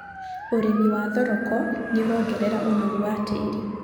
Ũrĩmi wa thoroko nĩũrongerera ũnoru wa tĩĩri.